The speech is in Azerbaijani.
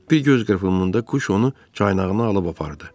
Bir göz qırpımında quş onu caynağına alıb apardı.